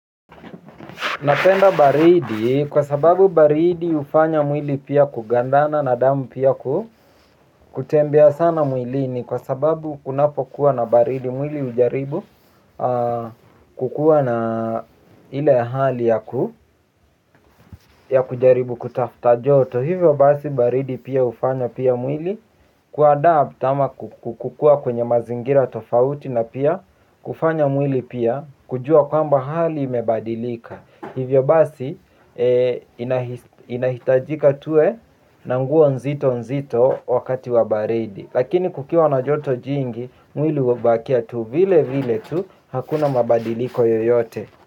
Napenda baridi kwa sababu baridi hufanya mwili pia kugandana na damu pia kutembea sana mwilini kwa sababu kunapokuwa na baridi mwili ujaribu kukuwa na ile hali ya kujaribu kutafta joto. Hivyo basi baridi pia ufanya pia mwili kuadapt ama kukukua kwenye mazingira tofauti na pia kufanya mwili pia kujua kwamba hali imebadilika. Hivyo basi inahitajika tuwe na mgo nzito nzito wakati wa baridi. Lakini kukiwa na joto jingi mwili hubakia tu vile vile tu hakuna mabadiliko yoyote.